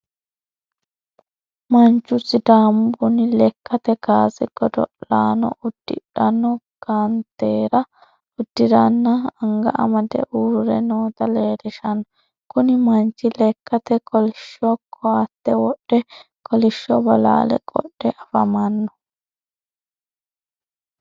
Manchu sidaamu buni lekkate kaase godo'laano uddidhanno kanateera uddirenna anga amade uurre noota leellishshano. Kuni manchi lekkate kolishsho koatte wodhe kolishsho bolaale qodhe afamanno.